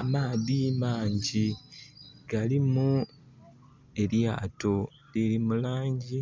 Amaadhi mangi galimu elyato, liri mu langi